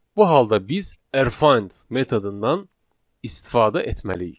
Bu halda biz Rfind metodundan istifadə etməliyik.